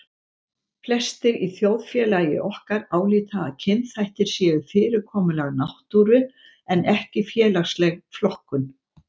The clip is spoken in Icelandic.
Flestir í þjóðfélagi okkar álíta að kynþættir séu fyrirkomulag náttúru en ekki félagsleg flokkun.